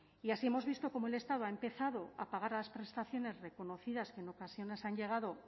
y así hemos visto cómo el estado ha empezado a pagar las prestaciones reconocidas que en ocasiones han llegado